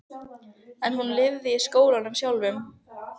En hún lifði í skólanum sjálfum.